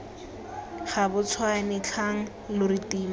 gabatshwane tlhang lo re tima